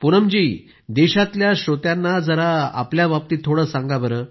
प्रधानमंत्रिजीः पूनम जी देशातल्या श्रोत्यांना जरा आपल्याबाबतीत थोडं सांगा